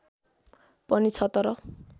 पनि छ तर